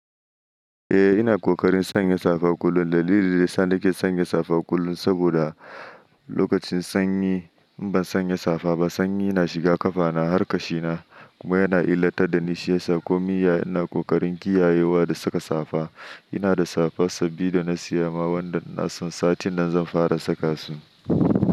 Eh ina ƙoƙarin sanya safa kullum. Dalili da yasa nake sanya safa kullum saboda lokacin sanyi in ban sanya safa ba sanyi yana shiga ƙafana, har kashina kuma yana illata dani shiyasa komi iya ina ƙoƙarin kiyayewa da saka safa. Inada safa sabi dana siya ma wanda na san satin nan zan fara saka su.